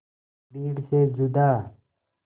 भीड़ से जुदा